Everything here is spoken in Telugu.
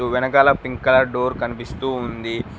వెనకాల పింక్ కలర్ డోర్ కనిపిస్తూ ఉంది.